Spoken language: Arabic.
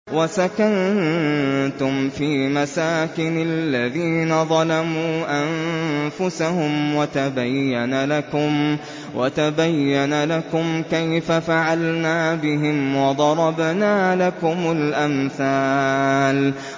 وَسَكَنتُمْ فِي مَسَاكِنِ الَّذِينَ ظَلَمُوا أَنفُسَهُمْ وَتَبَيَّنَ لَكُمْ كَيْفَ فَعَلْنَا بِهِمْ وَضَرَبْنَا لَكُمُ الْأَمْثَالَ